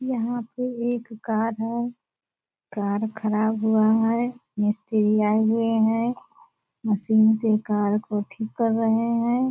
यहाँ पे एक कार है कार ख़राब हुआ है मिस्त्री आए हुए हैं मशीन से कार को ठीक कर रहे हैं।